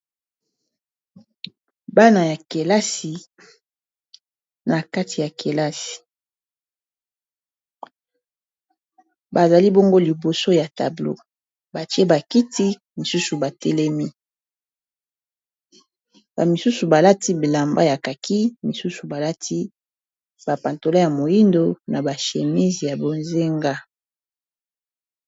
Bana ya kelasi na kati ya kelasi bazali bongo liboso ya tablo batie bakiti misusu batelemi ba misusu balati bilamba ya kaki misusu balati ba patalon ya moindo na ba chemise ya bozenga.